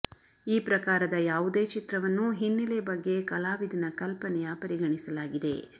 ಈ ಪ್ರಕಾರದ ಯಾವುದೇ ಚಿತ್ರವನ್ನು ಹಿನ್ನೆಲೆ ಬಗ್ಗೆ ಕಲಾವಿದನ ಕಲ್ಪನೆಯ ಪರಿಗಣಿಸಲಾಗಿದೆ